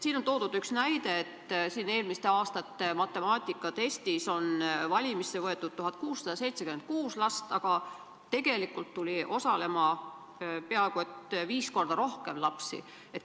Siin on toodud üks näide, mille korral üle-eelmise aasta matemaatikatestis oli valimisse võetud 1676 last, aga tegelikult tuli osalema peaaegu viis korda rohkem lapsi.